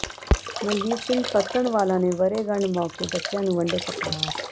ਮਨਜੀਤ ਸਿੰਘ ਫ਼ੱਤਣਵਾਲਾ ਨੇ ਵਰ੍ਹੇਗੰਢ ਮੌਕੇ ਬੱਚਿਆਂ ਨੂੰ ਵੰਡੇ ਕੱਪੜੇ